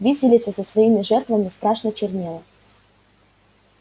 виселица со своими жертвами страшно чернела